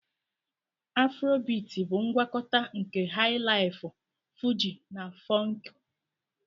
Afrobiti bụ ngwakọta nke Hai-laifu, Fuji na Funku.